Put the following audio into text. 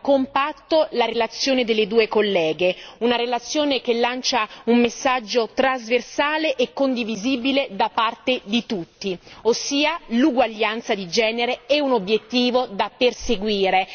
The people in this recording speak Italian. compatto la relazione delle due colleghe, una relazione che lancia un messaggio trasversale e condivisibile da parte di tutti ossia che l'uguaglianza di genere è un obiettivo da perseguire.